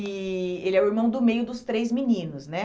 e ele é o irmão do meio dos três meninos, né?